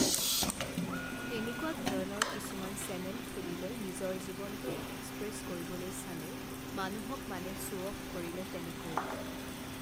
তেনেকুৱা ধৰণৰ কিছুমান চেনেল খুলিলে নিজৰ জীৱনটোক এক্সপ্ৰেছ কৰিবলৈ চালে মানুহক মানে শ্ব'অফ কৰিলে তেনেকৈ